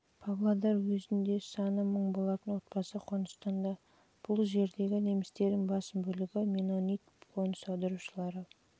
жылы павлодар уезінде саны мың болатын отбасы қоныстанды бұл жердегі немістердің басым бөлігі меннонит қоныс аударушылары